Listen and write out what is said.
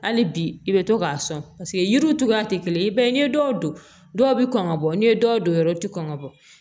Hali bi i bɛ to k'a sɔn paseke yiriw cogoya tɛ kelen ye ba ye ni ye dɔw don dɔw bɛ kɔn ka bɔ n'i ye dɔw don yɔrɔ tɛ kɔn ka bɔ